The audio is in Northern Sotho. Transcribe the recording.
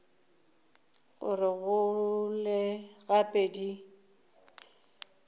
gore di gole gape di